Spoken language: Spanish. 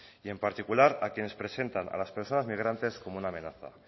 y en particular a quienes presentan a las presas migrantes como una amenaza